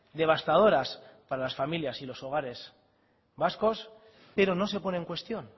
devastadoras para las familias y los hogares vascos pero no se pone en cuestión